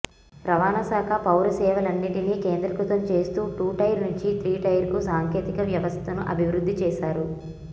రవాణాశాఖ పౌరసేవలన్నింటినీ కేంద్రీకృతం చేస్తూ టూటైర్ నుంచి త్రీటైర్కు సాంకేతిక వ్యవస్థను అభివృద్ధి చేశారు